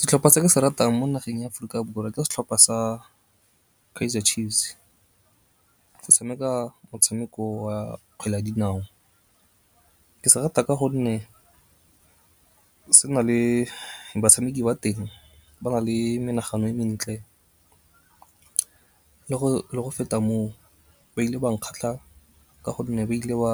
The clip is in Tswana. Setlhopha se ke se ratang mo nageng ya Aforika Borwa ke setlhopa sa Kaizer Chiefs se tshameka motshameko wa kgwele ya dinao. Ke se rata ka gonne se na le batshameki ba teng ba na le menagano e mentle le go feta moo ba ile ba nkgatlha ka gonne ba ile ba